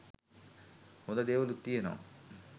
හොඳ දේවලුත් තියනවා